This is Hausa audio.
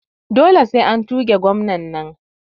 Dole sai an tuge gwanan nan